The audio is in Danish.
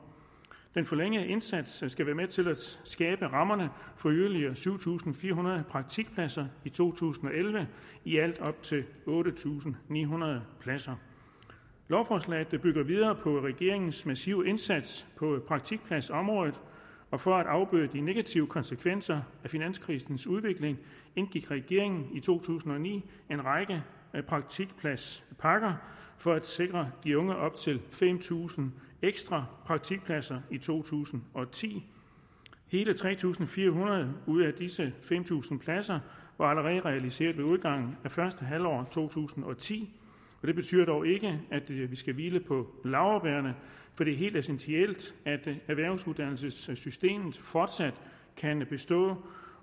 den forlængede indsats skal være med til at skabe rammerne for yderligere syv tusind fire hundrede praktikpladser i to tusind og elleve i alt op til otte tusind ni hundrede pladser lovforslaget bygger videre på regeringens massive indsats på praktikpladsområdet og for at afbøde de negative konsekvenser af finanskrisens udvikling indgik regeringen i to tusind og ni en række praktikpladspakker for at sikre de unge op til fem tusind ekstra praktikpladser i to tusind og ti hele tre tusind fire hundrede ud af disse fem tusind pladser var allerede realiseret ved udgangen af første halvår af to tusind og ti det betyder dog ikke at vi skal hvile på laurbærrene for det er helt essentielt at erhvervsuddannelsessystemet fortsat kan bestå